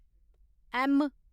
M